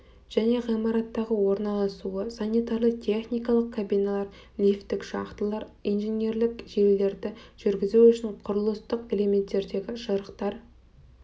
және ғимараттағы орналасуы санитарлы техникалық кабиналар лифттік шахталар инженерлік желілерді жүргізу үшін құрылыстық элементтердегі жырықтар